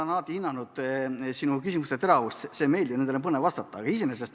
Ma olen alati hinnanud sinu küsimuste teravust – see on meeldiv ja nendele on põnev vastata.